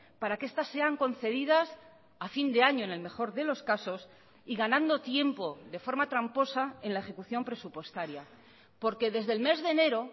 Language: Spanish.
para que estas sean concedidas a fin de año en el mejor de los casos y ganando tiempo de forma tramposa en la ejecución presupuestaria porque desde el mes de enero